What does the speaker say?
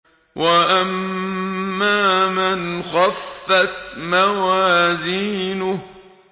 وَأَمَّا مَنْ خَفَّتْ مَوَازِينُهُ